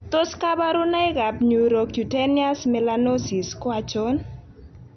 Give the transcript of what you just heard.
Tos kabarunoik ab Neurocutaneous melanosis ko achon